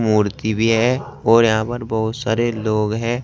मूर्ति भी है और यहां पर बहुत सारे लोग हैं।